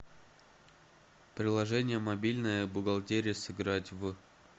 приложение мобильная бухгалтерия сыграть в